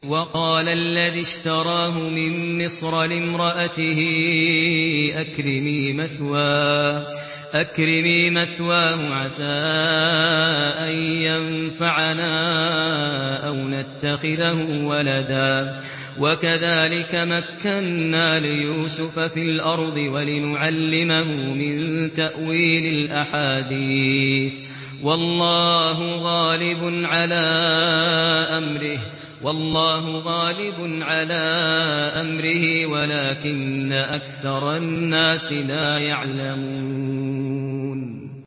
وَقَالَ الَّذِي اشْتَرَاهُ مِن مِّصْرَ لِامْرَأَتِهِ أَكْرِمِي مَثْوَاهُ عَسَىٰ أَن يَنفَعَنَا أَوْ نَتَّخِذَهُ وَلَدًا ۚ وَكَذَٰلِكَ مَكَّنَّا لِيُوسُفَ فِي الْأَرْضِ وَلِنُعَلِّمَهُ مِن تَأْوِيلِ الْأَحَادِيثِ ۚ وَاللَّهُ غَالِبٌ عَلَىٰ أَمْرِهِ وَلَٰكِنَّ أَكْثَرَ النَّاسِ لَا يَعْلَمُونَ